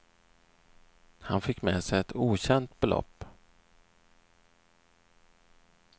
Han fick med sig ett okänt belopp.